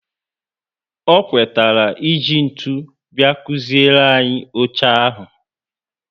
O kwetara e ji ntụ bia kuziere anyị oche ahụ